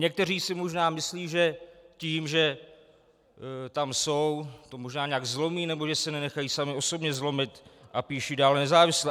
Někteří si možná myslí, že tím, že tam jsou, to možná nějak zlomí nebo že se nenechají sami osobně zlomit, a píšou dále nezávisle.